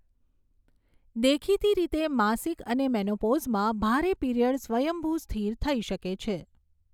દેખીતી રીતે, માસિક અને મેનોપોઝમાં ભારે પીરીયડ સ્વયંભૂ સ્થિર થઈ શકે છે.